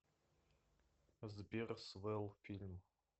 сбер свэлл фильм